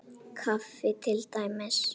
Kaffi til dæmis.